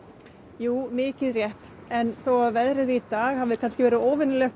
jú mikið rétt en þó að veðrið í dag hafi verið óvenjulegt